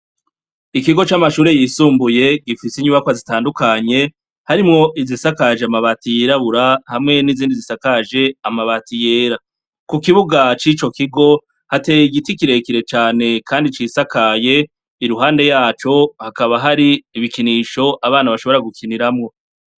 Ikigo camashure yisumbuye gifise inyubakwa zitandukanye, harimwo izisakaje amabati yirabura hamwe n’izindi zisakaje amabati yera, kukibuga cico kigo hateye igiti kirekire cane kandi cisakaye iruhande yaco hakaba hari ibikinisho abana bashobora gukiniramwo.